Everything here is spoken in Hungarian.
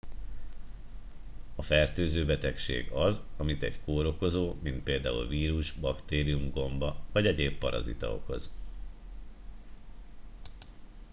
a fertőző betegség az amit egy kórokozó mint pl vírus baktérium gomba vagy egyéb parazita okoz